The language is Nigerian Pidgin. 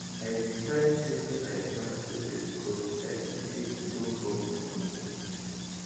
i decide say make i plant pepper becos i see say e don cost for market